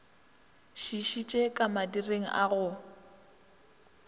šišitše ka madireng a go